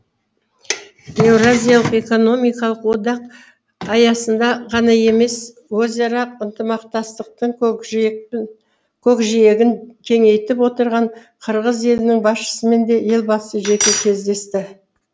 еуразиялық экономикалық одақ аясында ғана емес өзара ынтамақтастықтың көкжиегін кеңейтіп отырған қырғыз елінің басшысымен де елбасы жеке кездесті